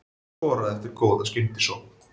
Hann skoraði eftir góða skyndisókn.